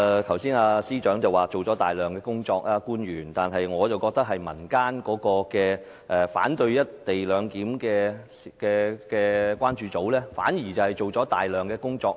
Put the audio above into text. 剛才司長說官員做了大量工作，但我卻認為民間反對"一地兩檢"的關注組做了大量工作。